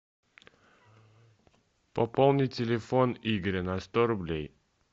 пополни телефон игоря на сто рублей